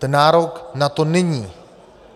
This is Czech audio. Ten nárok na to není.